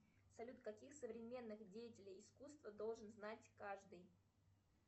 салют каких современных деятелей искусства должен знать каждый